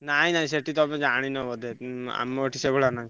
ନାଇଁ ନାଇଁ ସେଠି ତମେ ଜାଣିନ ବୋଧେ ଉଁ ଆମ ଏଠି ସେଇଭଳିଆ ନୁହଁ।